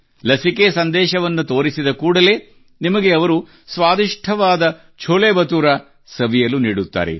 ಲಸಿಕೆ ಸಂದೇಶವನ್ನು ತೋರಿಸಿದ ಕೂಡಲೇ ನಿಮಗೆ ಅವರು ಸ್ವಾದಿಷ್ಟವಾದ ಛೋಲೆ ಬಟುರಾ ಸವಿಯಲು ನೀಡುತ್ತಾರೆ